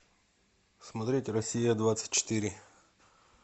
смотреть россия двадцать четыре